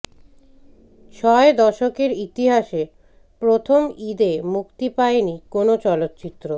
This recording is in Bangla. ছয় দশকের ইতিহাসে প্রথম ঈদে মুক্তি পায়নি কোনো চলচ্চিত্র